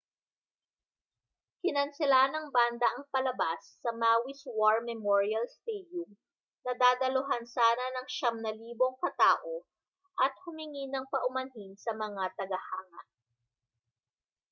kinansela ng banda ang palabas sa maui's war memorial stadium na dadaluhan sana ng 9,000 katao at humingi ng paumanhin sa mga tagahanga